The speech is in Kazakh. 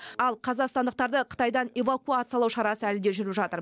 ал қазақстандықтарды қытайдан эвакуациялау шарасы әлі де жүріп жатыр